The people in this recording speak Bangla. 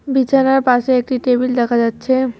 বিছানার পাশে একটি টেবিল দেখা যাচ্ছে।